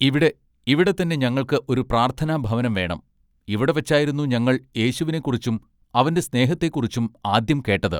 “ഇവിടെ ഇവിടെത്തന്നെ ഞങ്ങൾക്ക് ഒരു പ്രാർത്ഥന ഭവനം വേണം ഇവിടെ വച്ചായിരുന്നു ഞങ്ങൾ യേശുവിനെക്കുറിച്ചും അവന്റെ സ്നേഹത്തെക്കുറിച്ചും ആദ്യം കേട്ടത്.